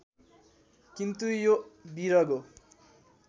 किन्तु यो विरगो